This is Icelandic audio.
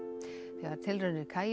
þegar tilraunir